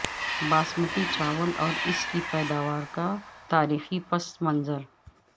باسمتی چاول اور اس کی پیداوار کا تاریخی پس منظر